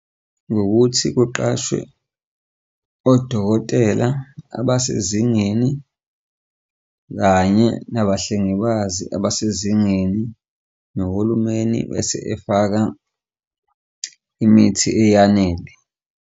Ngokuthi kuqashwe odokotela abasezingeni kanye nabahlengikazi abasezingeni nohulumeni bese efaka imithi eyanele.